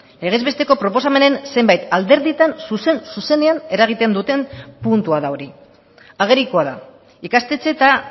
legez besteko proposamenen zenbait alderditan zuzen zuzenean eragiten duten puntua da hori agerikoa da ikastetxe eta